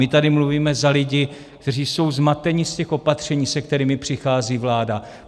My tady mluvíme za lidi, kteří jsou zmateni z těch opatření, se kterými přichází vláda.